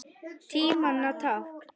Tímanna tákn?